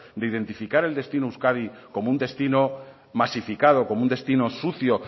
de identificar el destino euskadi como un destino masificado como un destino sucio